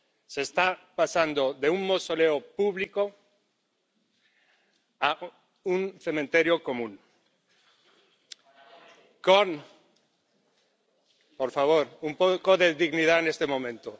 Se le está trasladando de un mausoleo público a un cementerio común. Por favor, un poco de dignidad en este momento.